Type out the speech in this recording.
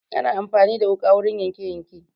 Ana amfani da wuƙa wurin yanke yanke